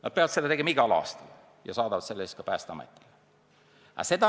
Nad peavad seda tegema igal aastal ja saadavad selle Päästeametile.